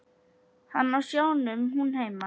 Hann á sjónum, hún heima.